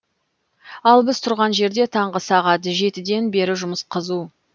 ал біз тұрған жерде таңғы сағат ден бері жұмыс қызу